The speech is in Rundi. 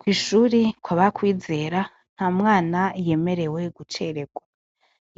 Kwishuri kwaba kwizera nta mwana yemerewe guceregwa,